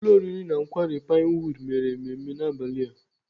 Ụlọ oriri na nkwari Pinewood mere mmemme n'abalị a.